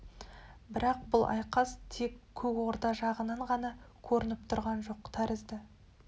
бірақ бұл айқас тек көк орда жағынан ғана көрініп тұрған жоқ тәрізді